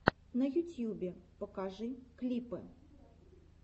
на ютьюбе покажи клипы